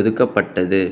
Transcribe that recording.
ஒதுக்கப்பட்டது